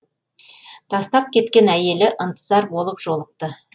тастап кеткен әйелі ынтызар болып жолықты